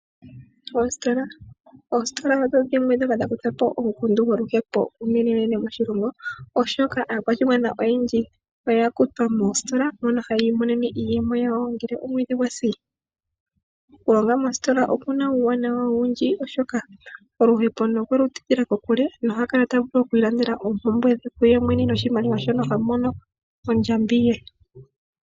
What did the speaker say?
Oositola, oositola odho dhimwe ndhoka dha kutha po omukundu goluhepo uunene moshilongo, oshoka aakwashigwana oyendji oya kutwa moositola haya imonene mo iiyemo yawo ngele omwedhi gwasi. Oku longa moositola okuna uuwanawa owundji, oshoka oluhepo owelu tidhila ko kule nohaya kala taya vulu oku ilandela ooompumbwe dhe kuye mwene noshimaliwa shoka ta mono ondjambi ye.